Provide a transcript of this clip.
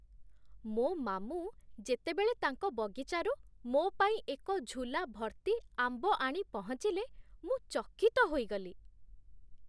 ମୋ ମାମୁଁ ଯେତେବେଳେ ତାଙ୍କ ବଗିଚାରୁ ମୋ ପାଇଁ ଏକ ଝୁଲା ଭର୍ତ୍ତି ଆମ୍ବ ଆଣି ପହଞ୍ଚିଲେ, ମୁଁ ଚକିତ ହୋଇଗଲି।